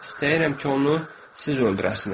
İstəyirəm ki, onu siz öldürəsiniz.